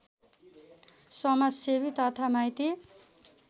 समाजसेवी तथा माइती